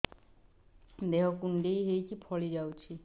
ଦେହ କୁଣ୍ଡେଇ ହେଇକି ଫଳି ଯାଉଛି